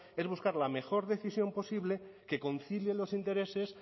es buscar la mejor decisión posible que concilie los intereses